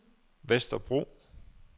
Vesterbro